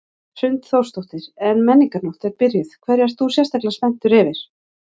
Hrund Þórsdóttir: En Menningarnótt er byrjuð, hverju ert þú sérstaklega spenntur yfir?